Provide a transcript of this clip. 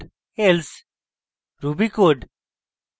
else ruby code